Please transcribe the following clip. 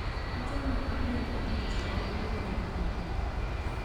achame atindonik che bo kukuoe nyu.